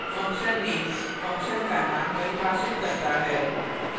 fun _ name function का name परिभाषित करता है